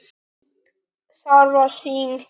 Það var sýn.